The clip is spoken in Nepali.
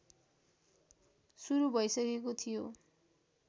सुरु भइसकेको थियो